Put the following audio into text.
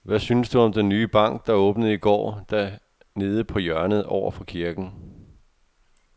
Hvad synes du om den nye bank, der åbnede i går dernede på hjørnet over for kirken?